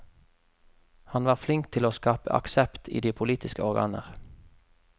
Han var flink til å skape aksept i de politiske organer.